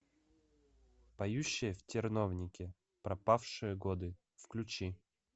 поющие в терновнике пропавшие годы включи